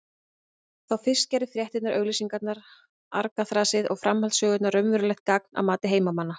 Þá fyrst gerðu fréttirnar, auglýsingarnar, argaþrasið og framhaldssögurnar raunverulegt gagn að mati heimamanna.